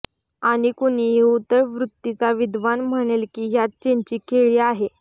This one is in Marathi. आणि कुणीही उथळ वृत्तीचा विद्वान म्हणेल की ह्यात चीनची खेळी आहे